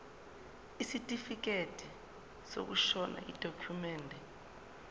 isitifikedi sokushona yidokhumende